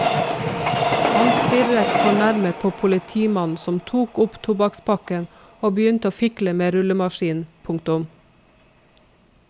Han stirret fornærmet på politimannen som tok opp tobakkspakken og begynte å fikle med rullemaskinen. punktum